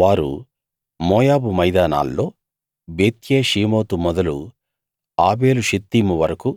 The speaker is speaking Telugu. వారు మోయాబు మైదానాల్లో బెత్యేషీమోతు మొదలు ఆబేలు షిత్తీము వరకూ